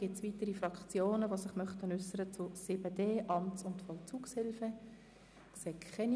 Gibt es weitere Fraktionen, die sich zum Themenblock 7.d Amts- und Vollzugshilfe äussern möchten?